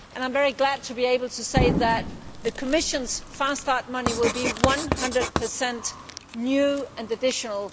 I am very glad to be able to say that the Commission's fast start money will be 100 new and additional.